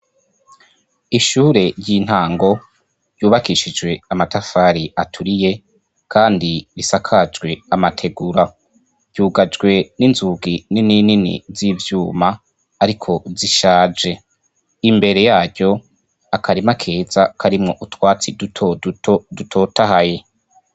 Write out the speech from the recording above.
Ishure ry'intango yubakishijwe amatafari aturiye, kandi risakajwe amategura ryugajwe n'inzugi nininini z'ivyuma, ariko zishaje imbere yaryo akarima akeza karimwo utwatsi duto duo dutotaha yi.